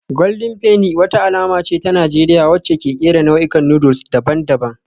Golden Penny wata alama ce ta Najeriya wacce ke kera nau'ikan noodles daban-daban